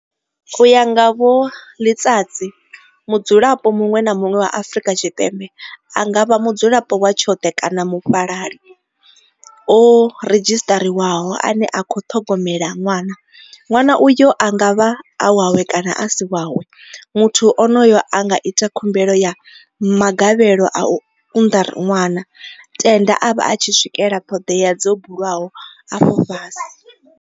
U ya nga vho Letsatsi, mudzulapo muṅwe na muṅwe wa Afrika Tshipembe, a nga vha mudzulapo wa tshoṱhe kana mufhalali o redzhisiṱariwaho ane a khou ṱhogomela ṅwana, ṅwana uyo a nga vha e wawe kana a si wawe, muthu onoyo a nga ita khumbelo ya magavhelo a u unḓa ṅwana, tenda a vha a tshi swikela ṱhoḓea dzo bulwaho afho fhasi.